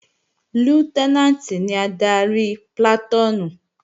Lútẹ́nàǹtì ni adarí plàtúùnù